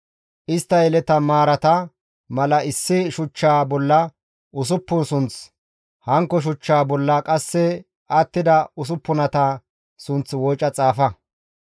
Istta yeleta maaraa mala issi shuchchaa bolla usuppun sunth, hankko shuchchaa bolla qasse attida usuppunata sunth wooca xaafa.